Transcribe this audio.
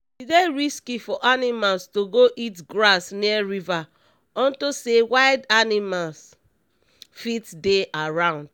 e dey risky for animals to go eat grass near river unto say wild animals fit dey around